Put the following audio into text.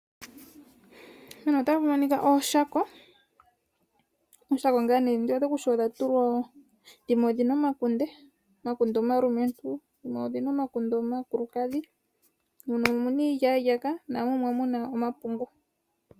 Mpano otapu monika ooshako dhimwe dhina omakunde, omakunde omalumentu. Dhimwe odhi na omakunde omakulukadhi. Dhimwe odhi na iilyalyaka, na mu dhimwe omuna omapundu.